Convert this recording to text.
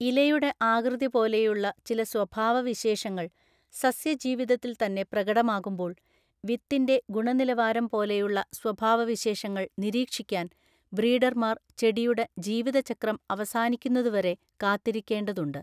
ഇലയുടെ ആകൃതി പോലെയുള്ള ചില സ്വഭാവവിശേഷങ്ങൾ സസ്യജീവിതത്തിൽ തന്നെ പ്രകടമാകുമ്പോൾ, വിത്തിന്റെ ഗുണനിലവാരം പോലെയുള്ള സ്വഭാവവിശേഷങ്ങൾ നിരീക്ഷിക്കാൻ ബ്രീഡർമാർ ചെടിയുടെ ജീവിതചക്രം അവസാനിക്കുന്നതുവരെ കാത്തിരിക്കേണ്ടതുണ്ട്.